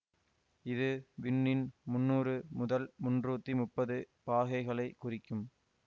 இது விண்ணின் முன்னூறு முதல் முன்றுத்தி முப்பது பாகைகளை குறிக்கும்